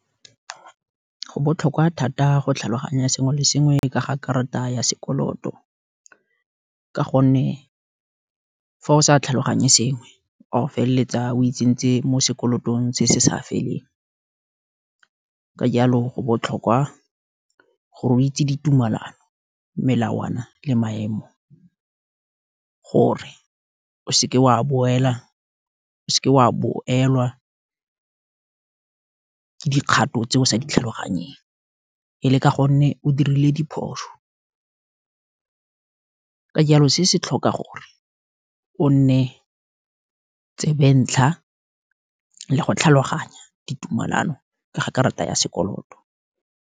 Go botlhokwa thata go tlhaloganya sengwe le sengwe ka ga karata ya sekoloto, ka gonne fa o sa tlhaloganye sengwe, wa go feleletsa o itseng ntse mo sekolotong se se sa feleng, ka jalo go botlhokwa, gore o itse ditumalano, melawana, le maemo, gore o seke wa boelwa, ke dikgato tse o sa tlhaloganyeng, ele ka gonne o dirile diphoso, ka jalo se se tlhoka gore, o nne tsebentlha, le go tlhaloganya ditumalano, ke ga karata ya sekoloto.